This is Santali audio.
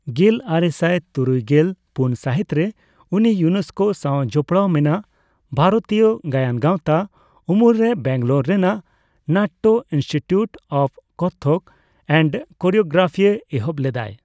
ᱜᱮᱞᱟᱨᱮᱥᱟᱭ ᱛᱩᱨᱩᱭᱜᱮᱞ ᱯᱩᱱ ᱥᱟᱹᱦᱤᱛᱨᱮ ᱩᱱᱤ ᱤᱭᱩᱱᱮᱥᱠᱳ ᱥᱟᱣ ᱡᱚᱯᱲᱟᱣ ᱢᱮᱱᱟᱜ ᱵᱷᱟᱨᱚᱛᱤᱭᱚ ᱜᱟᱭᱟᱱ ᱜᱟᱣᱛᱟ ᱩᱢᱩᱞᱨᱮ ᱵᱮᱝᱜᱟᱞᱳᱨ ᱨᱮᱱᱟᱜ Natya institute of Kathak and choreography ᱮᱦᱚᱵ ᱞᱮᱫᱟᱭ ᱾